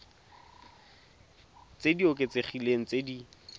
tse di oketsegileng tse di